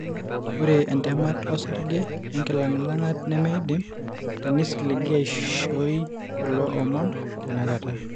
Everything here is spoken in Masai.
Ore entemata osarge onkilang'ilang'at nemeidim teneisiligi aishooi kulo omon tenakata.